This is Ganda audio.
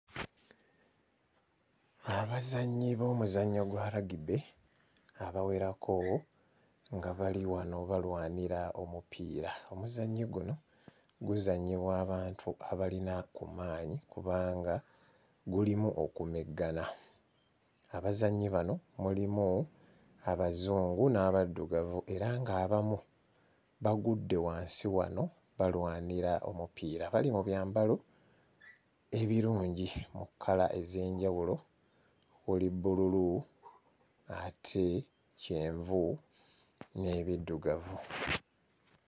Abazannyi b'omuzannyo gwa rugby abawerako nga bali wano balwanira omupiira. Omuzannyo guno guzannyibwa abantu abalina mu maanyi kubanga gulimu okumeggana. Abazannyi bano mulimu Abazungu n'Abaddugavu era ng'abamu bagudde wansi wano balwanira omupiira. Bali mu byambalo ebirungi mu kkala ez'enjawulo kuli bbululu ate kyenvu n'ebiddugavu.